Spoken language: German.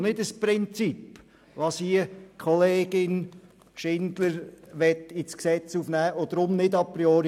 Es handelt sich lediglich um ein Ventil und nicht um ein Prinzip.